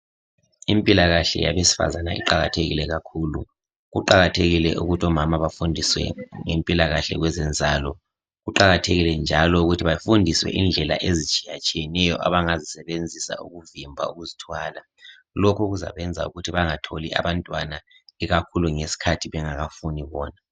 Impilakahle yabesifazana iqakathekile kakhulu kuqakathekile ukuthi omama bafundiswe ngempilakahle kwezenzalo kuqakathekile njalo ukuthi bafundiswe indlela ezitshiyatshiyeneyo abangazisebenzisa ukuvimbi ukuzithwala lokhu kuzabenza ukuthi bengatholi abantwana ikakhulu ngesikhathi bengakafuni bona.